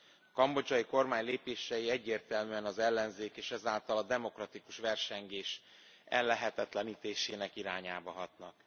A kambodzsai kormány lépései egyértelműen az ellenzék és ezáltal a demokratikus versengés ellehetetlenítésének irányába hatnak.